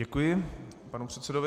Děkuji panu předsedovi.